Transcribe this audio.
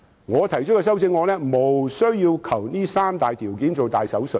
我提出的修正案無須為這三大條件動大手術。